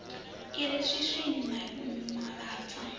atm i re swiswini mavhava